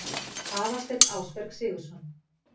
Aðalsteinn Ásberg Sigurðsson